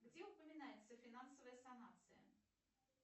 где упоминается финансовая санация